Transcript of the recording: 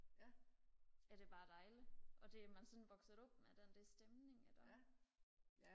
er det bare dejligt og det er man sådan vokset op med den der stemning der er